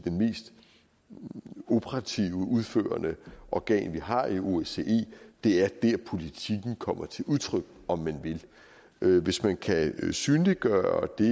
operative udførende organ vi har i osce det er der politikken kommer til udtryk om man vil hvis man kan synliggøre det